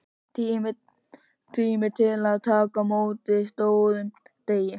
Tími til að taka á móti stórum degi.